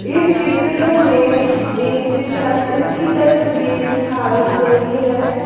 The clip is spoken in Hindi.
इस चित्र में एक छत की तस्वीर दिखाई गई है।